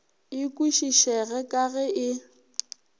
e kwešišege ka ge e